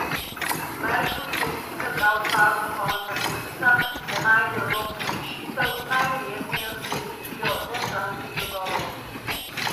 Merklovi je sicer dal čas do konca meseca, da najde evropsko rešitev, najverjetneje s sklenitvijo dvostranskih dogovorov.